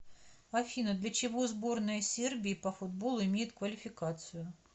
афина для чего сборная сербии по футболу имеет квалификацию